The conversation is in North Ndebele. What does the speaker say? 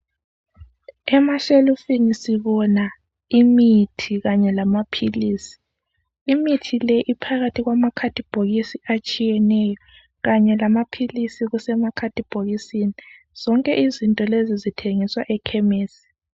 Emashelufini sibona imithi kanye lamaphilisi , imithi le iphakathi kwama khathibhokisi atshiyeneyo kanye lamaphilisi kusemakhathibhokisini , zonke lezi izinto zithengiswa emakhemisi